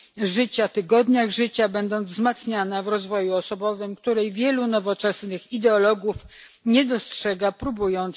życia, tygodniach życia, będąc wzmacniana w rozwoju osobowym, której wielu nowoczesnych ideologów nie dostrzega próbując wymuszać parytety.